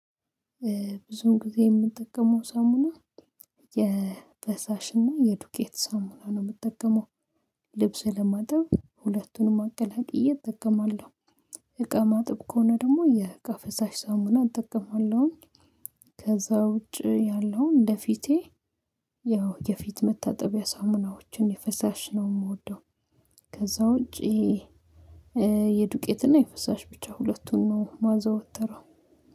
ብዙም ጊዜ የምጠቀመው ሳሙና የፈሳሽና የዱቄት ሳሙና ነው የምጠቀመው። ልብስ ለማጥብ ሁለቱንም አቀላቅዬ እጠቀማለሁ። እቃ ማጥብ ከሆነ ደግሞ የእቃ ፍሳሽ ሳሙና እጠቀማለሁኝ። ከዛ ውጪ ያለው እንደፊቴ ያው የፊት መታጠቢያ ሳሙናዎችን የፈሳሽ ነው የምወደው። ከዛ ውጪ የዱቄትና የፍሳሽ ብቻ ሁለቱን ነው ማዘወተረው